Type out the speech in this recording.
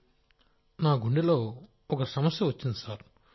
రాజేష్ ప్రజాపతి నా గుండెలో ఒక సమస్య వచ్చింది సార్